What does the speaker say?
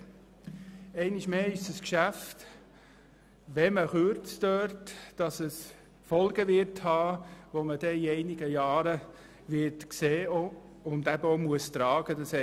Einmal mehr ist es ein Geschäft, bei welchem das Kürzen Folgen hat, die in einigen Jahren sichtbar werden und getragen werden müssen.